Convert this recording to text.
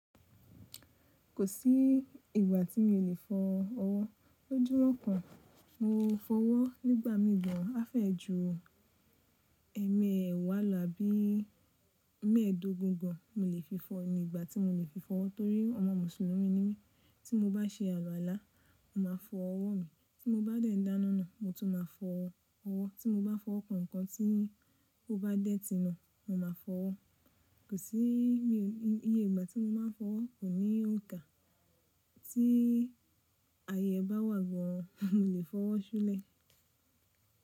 Kò sí ìgbà tí mi ò lè fọ ọwọ́. Lójú rọ́pọ̀ mo fọ ọwọ́ nígbà mì gan a fẹ́ ju ẹmẹẹ̀wáà abí mẹ́ẹ̀ẹ́dógún gan mo lè fi fọ ní ìgbà tí mo lè fi fọ ọwọ́ torí ọmọ mùsùlùmí ni mí tí mo bá ṣe àluwàlá, mo màá fọ ọwọ́ mi tí mo bá dẹ̀ dáná na, mo tún máa fọ ọwọ́, tí mo bá fọwọ kàn nǹkan tí ó bá dẹ́tì na, mo máa fọ ọwọ́. Kò sí iye ìgbà tí mo máa n fọ ọwọ́, kò ní òǹkà tí aye ẹ bá wà gan an mo lè fọwọ́ ṣúlẹ̀